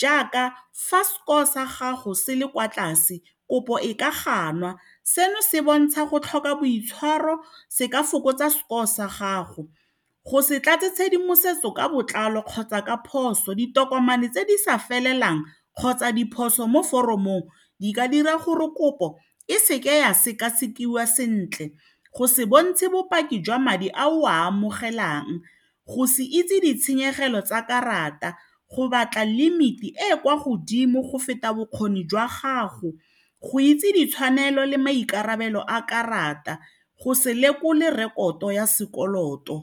jaaka fa score sa gago se le kwa tlase kopo e ka ganwa seno se bontsha go tlhoka boitshwaro se ka fokotsa score sa gago go se tlatse tshedimosetso ka botlalo kgotsa ka phoso, ditokomane tse di sa felelang kgotsa diphoso mo foromong di ka dira gore kopo e seke ya sekasekiwa sentle go se bontshe bopaki jwa madi a o a amogelang go se itse ditshenyegelo tsa karata go batla limit-i e e kwa godimo go feta bokgoni jwa gago go itse ditshwanelo le maikarabelo a karata go se lekole rekoto ya sekoloto.